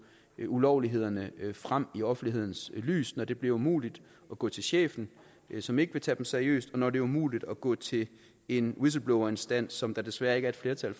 ulovlighederne frem i offentlighedens lys på når det bliver umuligt at gå til chefen som ikke vil tage dem seriøst og når det er umuligt at gå til en whistleblowerinstans som der desværre ikke er flertal